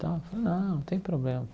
E tal falei não tem problema.